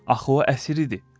Axı o əsir idi.